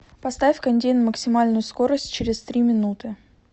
поставь кондей на максимальную скорость через три минуты